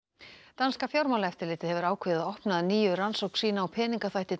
danska fjármálaeftirlitið hefur ákveðið að opna að nýju rannsókn sína á peningaþvætti